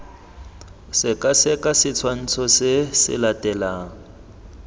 sekaseka setshwantsho se se latelang